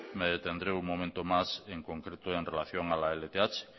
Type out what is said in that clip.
me detendré un momento más en concreto en relación a la lth